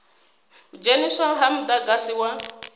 u dzheniswa ha mudagasi wa